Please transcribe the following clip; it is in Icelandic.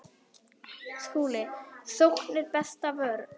SKÚLI: Sókn er besta vörnin.